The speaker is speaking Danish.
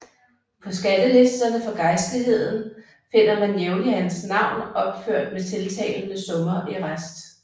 På skattelisterne for gejstligheden finder man jævnligt hans navn opført med tiltagende summer i rest